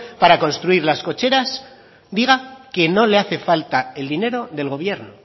para construir las cocheras diga que no le hace falta el dinero del gobierno